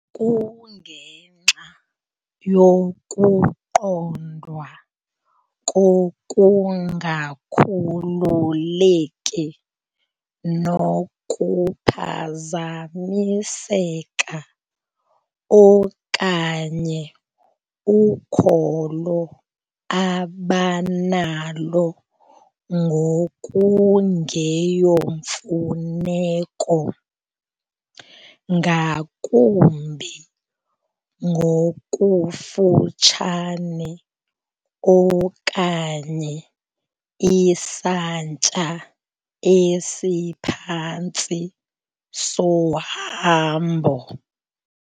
Kungenxa yokuqondwa kokungakhululeki nokuphazamiseka okanye ukholo abanalo ngokungeyomfuneko ngakumbi ngokufutshane okanye isantya esiphantsi sohambo.